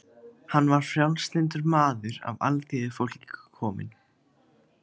Hann var frjálslyndur maður af alþýðufólki kominn.